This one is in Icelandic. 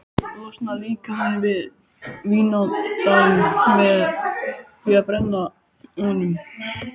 Losar líkamann við vínandann með því að brenna honum.